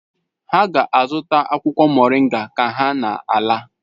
Ha ga-azụta akwụkwọ moringa ka ha na-ala.